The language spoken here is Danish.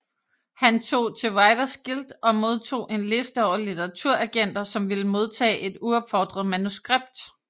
Han tog til Writers Guild og modtog en liste over litteraturagenter som ville modtage et uopfordret manuskript